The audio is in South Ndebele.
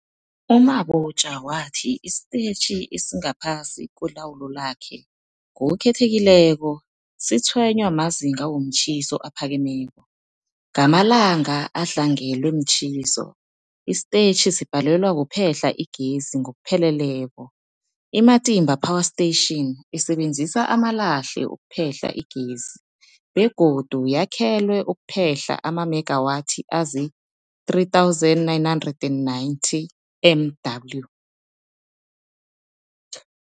U-Mabotja wathi isitetjhi esingaphasi kwelawulo lakhe, ngokukhethekileko, sitshwenywa mazinga womtjhiso aphakemeko. Ngamalanga adlangelwe mtjhiso, isitetjhi sibhalelwa kuphehla igezi ngokupheleleko. I-Matimba Power Station isebenzisa amalahle ukuphehla igezi begodu yakhelwe ukuphehla amamegawathi azii-3990 MW.